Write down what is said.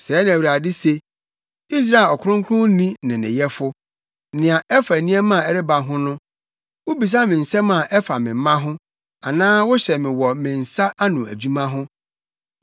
“Sɛɛ na Awurade se, Israel Ɔkronkronni ne ne Yɛfo; Nea ɛfa nneɛma a ɛreba ho no, wubisa me nsɛm a ɛfa me mma ho, anaa wohyɛ me wɔ me nsa ano adwuma ho?